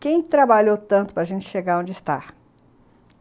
Quem trabalhou tanto para a gente chegar onde está?